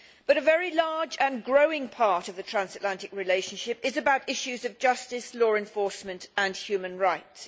A very large and growing part of the transatlantic relationship is about issues of justice, law enforcement and human rights.